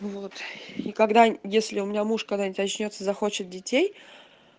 вот и когда если у меня муж когда-нибудь очнётся захочет детей